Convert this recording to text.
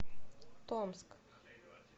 томск